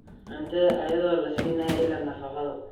cuntada iyadoo la siinayo ilo nafaqo.